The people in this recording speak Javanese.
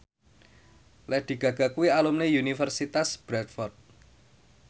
Lady Gaga kuwi alumni Universitas Bradford